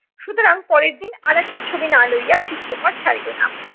সুতরাং পরের দিন আরেকটা ছবি না লইয়া চিত্রকর ছাড়িলো না।